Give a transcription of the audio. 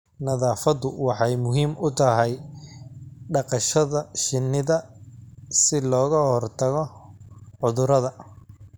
Nadaafadu waxay muhiim u tahay dhaqashada shinida si looga hortago cudurada.